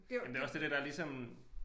Men det også det der der ligesom